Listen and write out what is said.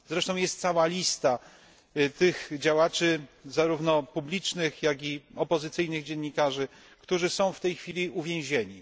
Jest zresztą cała lista tych działaczy zarówno publicznych, jak i opozycyjnych dziennikarzy którzy są w tej chwili uwięzieni.